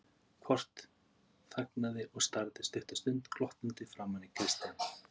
Kort þagnaði og starði stutta stund glottandi framan í Christian.